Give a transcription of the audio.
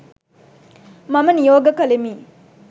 මම නියෝග කළෙමි.